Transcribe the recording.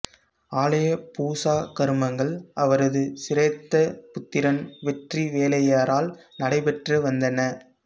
ஆலய பூசா கருமங்கள் அவரது சிரேஷ்ட புத்திரன் வெற்றிவேலையரால் நடைபெற்று வந்தன